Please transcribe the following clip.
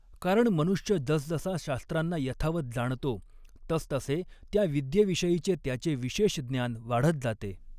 कारण मनुष्य जसजसा शास्त्रांना यथावत जाणतो तसतसे त्या विद्येविषयीचे त्याचे विशेष ज्ञान वाढत जाते